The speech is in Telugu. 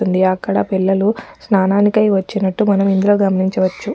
తుంది అక్కడ పిల్లలు స్నానానికై వచ్చినట్టు మనం ఇందులో గమనించవచ్చు.